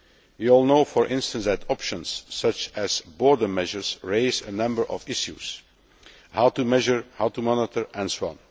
We all know, for instance, that options such as border measures raise a number of issues how to measure, how to monitor, and so on.